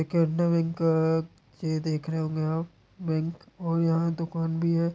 ये केनरा बैंक अअअ ये देख रहे होंगे आप बैंक और यहाँ दूकान भी है।